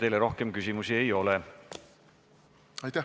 Teile rohkem küsimusi ei ole.